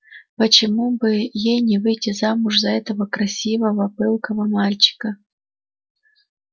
почему бы ей не выйти замуж за этого красивого пылкого мальчика